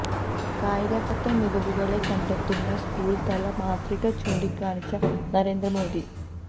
കായിക രംഗത്തെ മികവുകളെ കണ്ടെത്തുന്ന സ്കൂള് തല മാതൃക ചൂണ്ടിക്കാണിച്ച നരേന്ദ്ര മോഡി